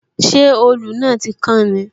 Ṣé òòlù náà tí kán ni?